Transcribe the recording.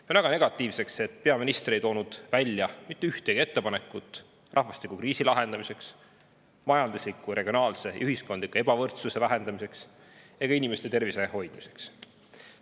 Pean väga negatiivseks, et peaminister ei teinud mitte ühtegi ettepanekut rahvastikukriisi lahendamiseks, majandusliku, regionaalse ja ühiskondliku ebavõrdsuse vähendamiseks ega ka inimeste tervise hoidmiseks.